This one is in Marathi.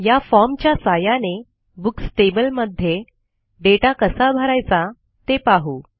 या formच्या सहाय्याने बुक्स टेबल मध्ये दाता कसा भरायचा ते पाहू